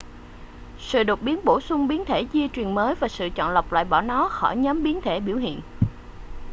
sự đột biến bổ sung biến thể di truyền mới và sự chọn lọc loại bỏ nó khỏi nhóm biến thể biểu hiện